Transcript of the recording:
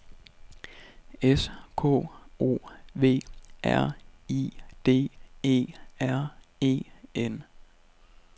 S K O V R I D E R E N